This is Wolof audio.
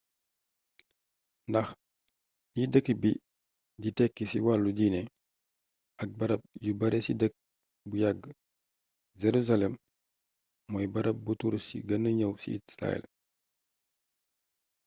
ndax li dëkk bi di tekki ci wàllu diine ak barab yu bare ci dëkk bu yàgg jerusalem mooy barab buuu turist gën ñëw ci israel